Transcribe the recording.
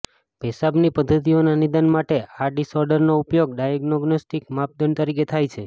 પેશાબની પધ્ધતિઓના નિદાન માટે આ ડિસઓર્ડરનો ઉપયોગ ડાયગ્નોસ્ટિક માપદંડ તરીકે થાય છે